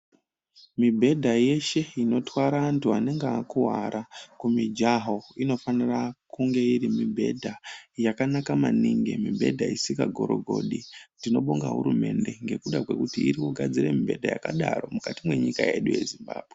Mibhedha yeshe inotwara antu anenge akuwara kumijaho inofanira kunge iri mibhedha yakanaka maningi, mibhedha isinga gorogodi. Tinoda kutenda hurumende kuti irikugadzira mibhedha yakadaro mukati mwenyika yedu yeZimbabwe.